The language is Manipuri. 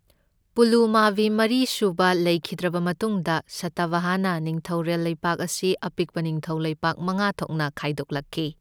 ꯄꯨꯂꯨꯃꯥꯕꯤ ꯃꯔꯤ ꯁꯨꯕ ꯂꯩꯈꯤꯗ꯭ꯔꯕ ꯃꯇꯨꯡꯗ ꯁꯇꯚꯥꯍꯅ ꯅꯤꯡꯊꯧꯔꯦꯜ ꯂꯩꯕꯥꯛ ꯑꯁꯤ ꯑꯄꯤꯛꯄ ꯅꯤꯡꯊꯧ ꯂꯩꯕꯥꯛ ꯃꯉꯥ ꯊꯣꯛꯅ ꯈꯥꯏꯗꯣꯛꯂꯛꯈꯤ꯫